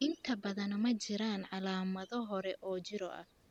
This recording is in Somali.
Inta badan, ma jiraan calaamado hore oo jirro ah.